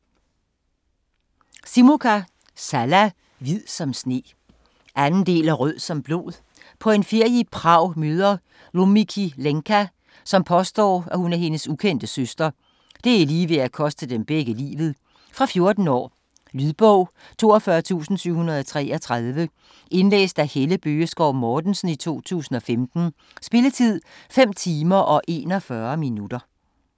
Simukka, Salla: Hvid som sne 2. del af Rød som blod. På en ferie i Prag møder Lumikki Lenka, som påstår hun er hendes ukendte søster. Det er lige ved at koste dem begge livet. Fra 14 år. Lydbog 42733 Indlæst af Helle Bøgeskov Mortensen, 2015. Spilletid: 5 timer, 41 minutter.